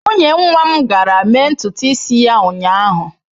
Nwunye nwa m gara mee ntutu isi ya ụnyahụ.